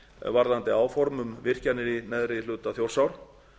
varðandi áform um virkjanir í neðri hluta þjórsár